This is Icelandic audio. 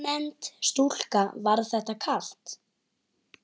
Ónefnd stúlka: Var þetta kalt?